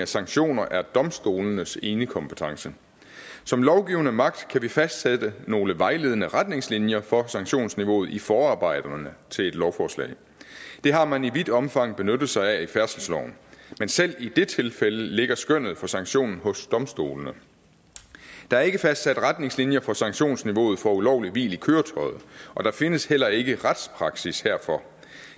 sanktioner er domstolenes enekompetence som lovgivende magt kan vi fastsætte nogle vejledende retningslinjer for sanktionsniveauet i forarbejderne til et lovforslag det har man i vidt omfang benyttet sig af i færdselsloven men selv i det tilfælde ligger skønnet for sanktionen hos domstolene der er ikke fastsat retningslinjer for sanktionsniveauet for ulovligt hvil i køretøjet og der findes heller ikke retspraksis herfor